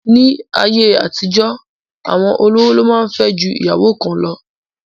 Ní ayé àtijọ́, àwọn olówó lo máa ń fẹ́ ju ìyàwó kan lọ